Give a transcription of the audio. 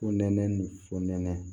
Fo nɛnɛ ni fo nɛnɛ